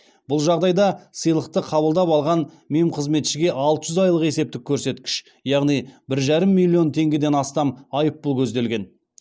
бұл жағдайда сыйлықты қабылдап алған мемқызметшіге алты жүз айлық есептік көрсеткіш яғни бір жарым миллион теңгеден астам айыппұл көзделген